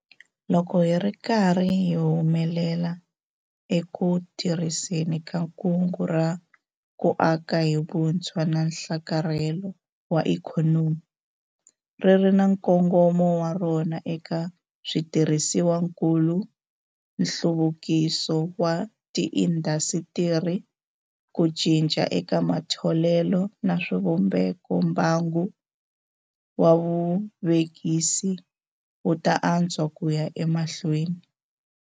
Loko hi ri karhi hi humelela eku tirhiseni ka Kungu ra ku Aka hi Vutshwa na Nhlakarhelo wa Ikhonomi - ri ri na nkongomo wa rona eka switirhisiwakulu, nhluvukiso wa tiindasitiri, ku cinca eka matholelo na swivumbeko - mbangu wa vuvekisi wu ta antswa ku ya emahlweni.